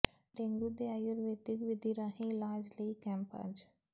dengue ਦੇ ਆਯੂਰਵੈਦਿਕ ਵਿਧੀ ਰਾਹੀਂ ਇਲਾਜ ਲਈ ਕੈਂਪ ਅੱਜ